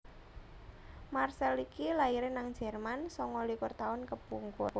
Marcel iki laire nang Jerman sanga likur tahun kepungkur